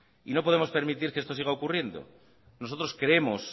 no podemos permitir que esto siga ocurriendo nosotros creemos